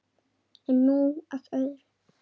En nú að öðru.